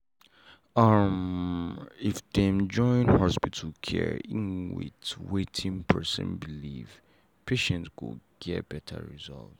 umm if dem join hospital care en with watin person belief patient go get better result.